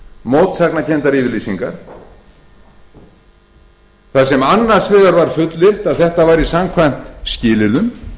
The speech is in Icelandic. mótsagnakenndar yfirlýsingar þar sem annars vegar var fullyrt að þetta væri samkvæmt skilyrðum